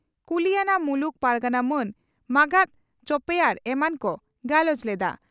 ᱠᱩᱞᱤᱭᱟᱱᱟ ᱢᱩᱞᱩᱠ ᱯᱟᱨᱜᱟᱱᱟ ᱢᱟᱱ ᱢᱟᱸᱜᱟᱛ ᱪᱚᱯᱮᱭᱟᱨ ᱮᱢᱟᱱ ᱠᱚ ᱜᱟᱞᱚᱪ ᱞᱮᱫᱼᱟ ᱾